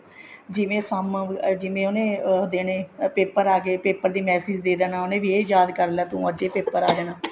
ਜਿਵੇਂ ਕੰਮ ਜਿਵੇਂ ਉਹਨੇ ਉਹ ਦੇਣੇ paper ਆਗੇ paper ਦਾ message ਦੇ ਦੇਣਾ ਉਹਨੇ ਵੀ ਇਹ ਯਾਦ ਕਰਲਾ ਅੱਜ ਇਹ paper ਆ ਜਾਣਾ